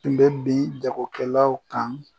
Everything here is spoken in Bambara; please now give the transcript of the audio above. Tun bɛ bin jagokɛlaw kan